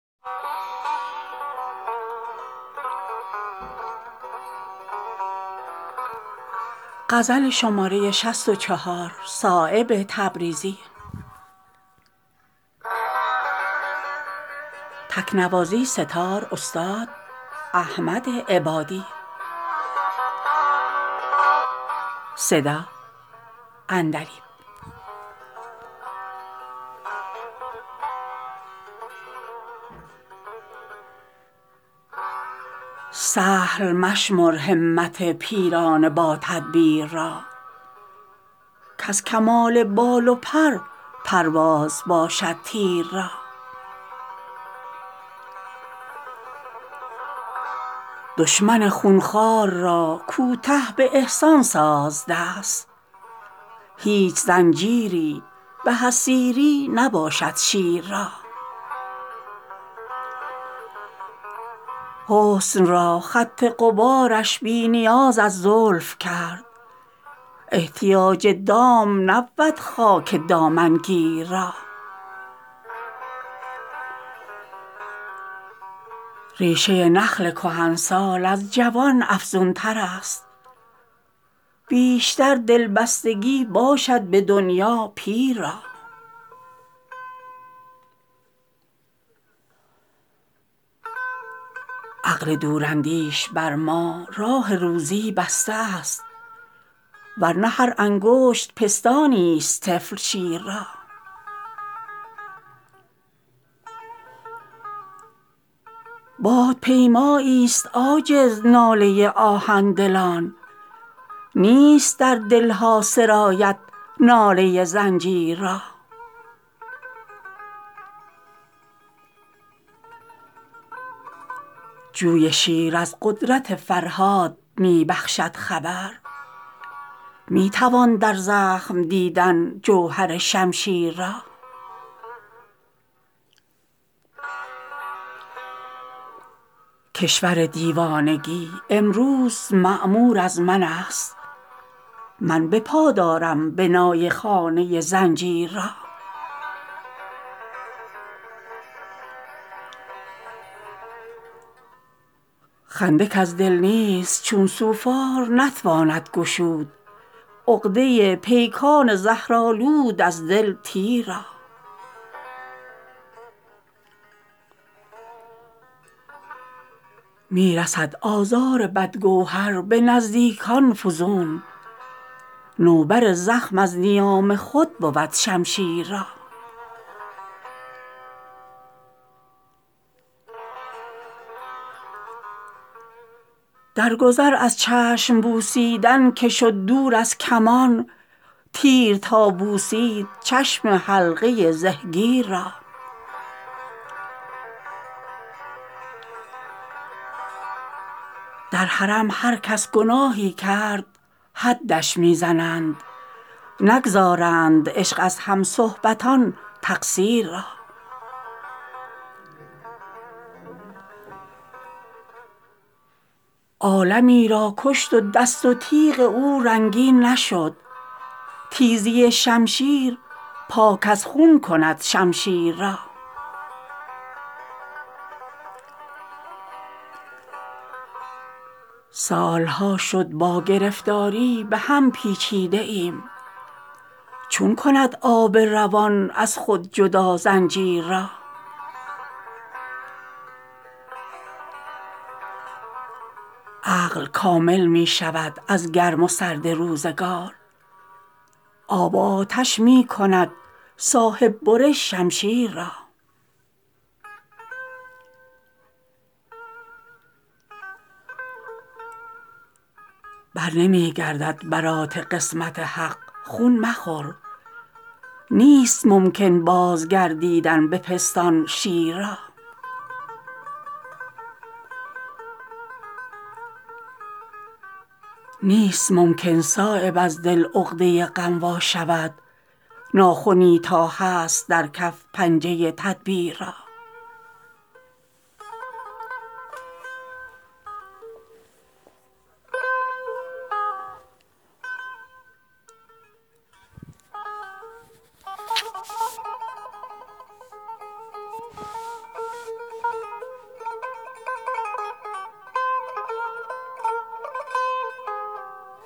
سهل مشمر همت پیران با تدبیر را کز کمان بال و پر پرواز باشد تیر را دشمن خونخوار را کوته به احسان ساز دست هیچ زنجیری به از سیری نباشد شیر را حسن را خط غبارش بی نیاز از زلف کرد احتیاج دام نبود خاک دامنگیر را ریشه نخل کهنسال از جوان افزون ترست بیشتر دلبستگی باشد به دنیا پیر را عقل دوراندیش بر ما راه روزی بسته است ور نه هر انگشت پستانی است طفل شیر را باد پیمایی است عاجز نالی آهن دلان نیست در دلها سرایت ناله زنجیر را جوی شیر از قدرت فرهاد می بخشد خبر می توان در زخم دیدن جوهر شمشیر را کشور دیوانگی امروز معمور از من است من بپا دارم بنای خانه زنجیر را خنده کز دل نیست چون سوفار نتواند گشود عقده پیکان زهرآلود از دل تیر را می رسد آزار بدگوهر به نزدیکان فزون نوبر زخم از نیام خود بود شمشیر را در گذر از چشم بوسیدن که شد دور از کمان تیر تا بوسید چشم حلقه زهگیر را در حرم هر کس گناهی کرد حدش می زنند نگذراند عشق از همصحبتان تقصیر را عالمی را کشت و دست و تیغ او رنگین نشد تیزی شمشیر پاک از خون کند شمشیر را سالها شد با گرفتاری بهم پیچیده ایم چون کند آب روان از خود جدا زنجیر را عقل کامل می شود از گرم و سرد روزگار آب و آتش می کند صاحب برش شمشیر را برنمی گردد برات قسمت حق خون مخور نیست ممکن باز گردیدن به پستان شیر را نیست ممکن صایب از دل عقده غم وا شود ناخنی تا هست در کف پنجه تدبیر را